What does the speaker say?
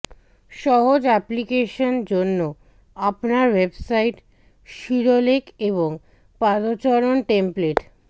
সহজ অ্যাপ্লিকেশন জন্য আপনার ওয়েবসাইট শিরোলেখ এবং পাদচরণ টেমপ্লেট